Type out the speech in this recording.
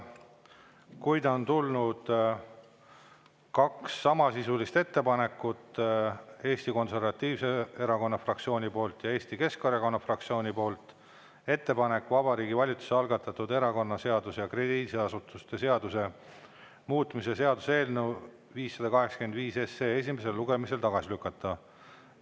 Kuid on tulnud kaks samasisulist ettepanekut Eesti Konservatiivse erakonna fraktsiooni poolt ja Eesti Keskerakonna fraktsiooni poolt: ettepanek Vabariigi Valitsuse algatatud erakonnaseaduse ja krediidiasutuse seaduse muutmise seaduse eelnõu 585 esimesel lugemisel tagasi lükata.